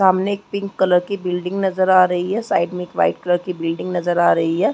सामने एक pink colour की बिल्डिंग नजर आ रही है साइड में एक वाइट कलर की नजर आ रही है